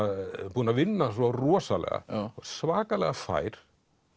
búinn að vinna svo rosalega og svakalega fær